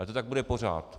A to tak bude pořád.